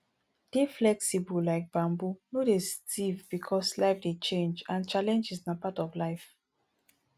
dey flexible like bamboo no dey stiff because life dey change and challenges na part of life